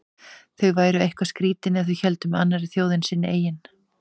Þau væru eitthvað skrýtin ef þau héldu með annarri þjóð en sinni eigin.